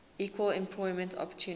equal employment opportunity